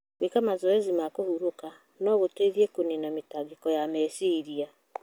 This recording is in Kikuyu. Gwĩka mazoezi ma kũhurũka no gũteithie kũniina mĩtangĩko ya meciria.